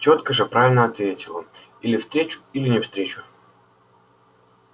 тётка же правильно ответила или встречу или не встречу